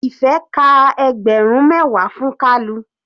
Ife ka ẹgbẹrun mẹwa fún kalu.